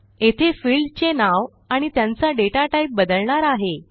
येथे फिल्डचे नाव आणि त्यांचा डेटा टाईप बदलणार आहे